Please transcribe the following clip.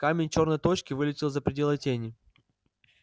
камень чёрной точки вылетел за пределы тени